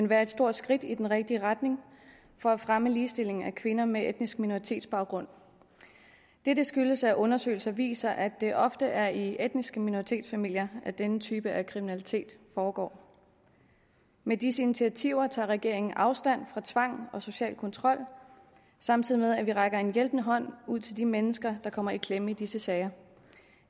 være et stort skridt i den rigtige retning for at fremme ligestillingen af kvinder med etnisk minoritets baggrund dette skyldes at undersøgelser viser at det ofte er i etnisk minoritets familier denne type af kriminalitet foregår med disse initiativer tager regeringen afstand fra tvang og social kontrol samtidig med at vi rækker en hjælpende hånd ud til de mennesker der kommer i klemme i disse sager